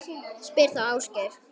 Spyr þá Ásgeir.